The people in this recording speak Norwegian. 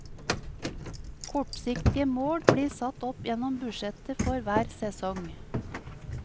Kortsiktige mål blir satt opp gjennom budsjettet for hver sesong.